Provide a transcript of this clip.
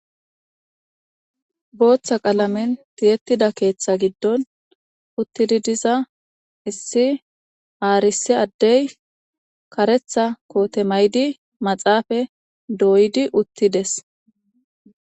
Booththa qalamin tiyettida keeththa giddon uttidi diza issi aarisi addey karetha koote maydi maxaafa dooydi uttides.